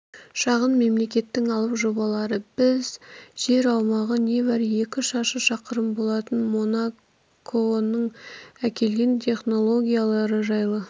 шағын мемлекеттің алып жобалары біз жер аумағы небәрі екі шаршы шақырым болатын монаконың әкелген технологиялары жайлы